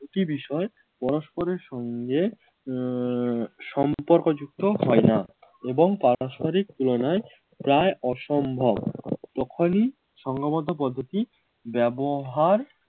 দুটি বিষয় পরস্পরের সঙ্গে আহ সম্পর্কযুক্ত হয় না এবং পারস্পরিক তুলনায় প্রায় অসম্ভব তখনই সঙ্গবদ্ধ পদ্ধতি ব্যবহার